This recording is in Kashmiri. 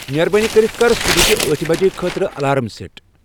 مہربٲنی کٔرِتھ کر صبحٲچِہ ٲٹِھہ بج خٲطرٕ الارام سیٹ ۔